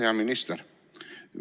Hea minister!